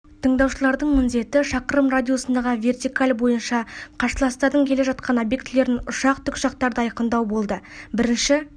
тыңдаушылардың міндеті шақырым радиусындағы вертикаль бойынша қарсыластардың келе жатқан объектілерін ұшақ тікұшақтарды айқындау болды бірінші